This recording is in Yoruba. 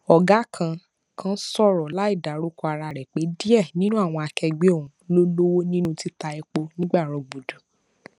ọgá kan kan sọrọ láìdárúkọ ara rẹ pé díẹ ninu àwọn akẹgbẹ òhun ló lọwọ nínú títa epo ní gbàrọgbùdù